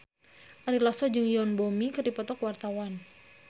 Ari Lasso jeung Yoon Bomi keur dipoto ku wartawan